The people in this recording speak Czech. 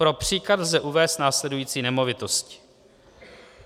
Pro příklad lze uvést následující nemovitosti.